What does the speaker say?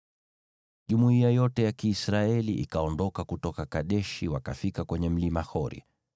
Jumuiya yote ya Kiisraeli ikaondoka kutoka Kadeshi, wakafika kwenye Mlima Hori.